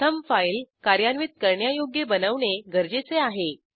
प्रथम फाईल कार्यान्वित करण्यायोग्य बनवणे गरजेचे आहे